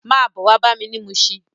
Má bò wá bámi ni Mushin